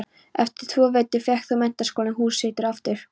Eftir tvo vetur fékk þó Menntaskólinn hús sitt aftur.